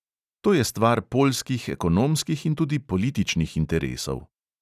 To je stvar poljskih ekonomskih in tudi političnih interesov.